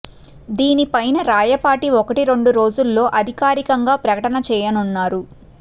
దీని పైన రాయపాటి ఒకటి రెండు రోజుల్లో అధికారికంగా ప్రకటన చేయనున్నారు